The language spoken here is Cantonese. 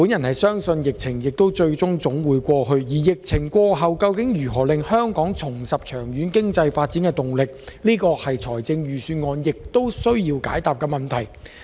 我相信疫情總會過去，但疫情過後如何令香港重拾長遠經濟發展動力，這才是財政預算案需要解答的問題。